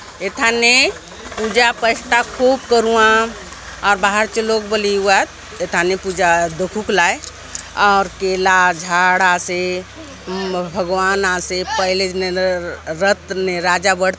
ए थाने पूजा प्रसाद खूब करुआव आउर बाहर चो लोग बले एउआत एथाने पूजा दखुक लाय आउर केला झाड़ आसे भगवान आसे पहले जुग रथ ने राजा बैठ --